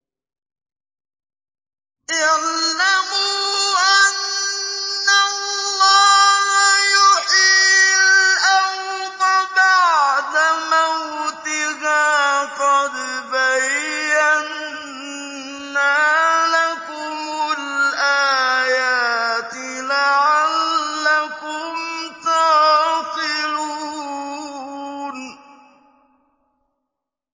اعْلَمُوا أَنَّ اللَّهَ يُحْيِي الْأَرْضَ بَعْدَ مَوْتِهَا ۚ قَدْ بَيَّنَّا لَكُمُ الْآيَاتِ لَعَلَّكُمْ تَعْقِلُونَ